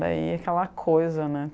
Daí aquela coisa, né?